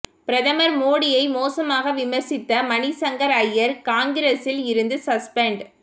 பிரதமர் மோடியை மோசமாக விமர்சித்த மணிசங்கர் அய்யர் காங்கிரஸில் இருந்து சஸ்பென்ட்